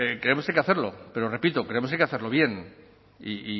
creemos que hay que hacerlo pero repito creemos que hay que hacerlo bien y